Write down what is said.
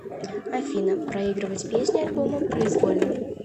афина проигрывать песни альбома произвольно